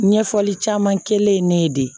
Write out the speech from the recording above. Ɲɛfɔli caman kɛ ye ne ye de